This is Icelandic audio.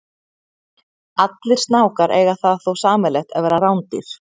Allir snákar eiga það þó sameiginlegt að vera rándýr.